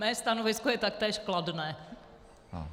Moje stanovisko je taktéž kladné.